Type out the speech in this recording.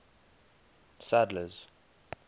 sadler's